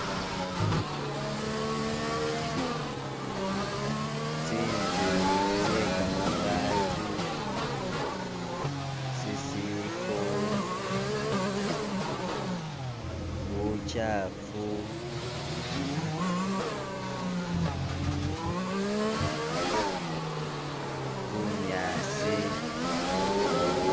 Tsinzu tsye kamabati, sisiko, bukyaafu, bunyaasi.